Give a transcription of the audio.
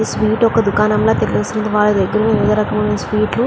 Sweet ఒక దుకాణం లాగా తెలుస్తుంది. వాళ్ళ దగ్గర వివిధ రకాల స్వీట్ లు --